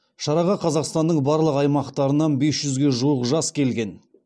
шараға қазақстанның барлық аймақтарынан бес жүзге жуық жас келген